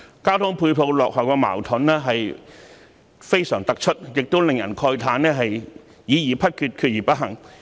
交通配套落後的矛盾非常明顯，亦令人慨歎政府議而不決，決而不行。